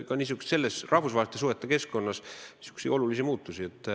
Me näeme ka rahvusvaheliste suhete keskkonnas olulisi muutusi.